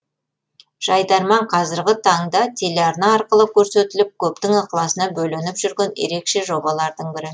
жайдарман қазіргі таңда телеарна арқылы көрсетіліп көптің ықыласына бөленіп жүрген ерекше жобалардың бірі